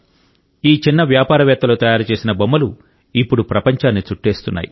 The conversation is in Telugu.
ఈ చిన్న వ్యాపారవేత్తలు తయారు చేసిన బొమ్మలు ఇప్పుడు ప్రపంచాన్ని చుట్టేస్తున్నాయి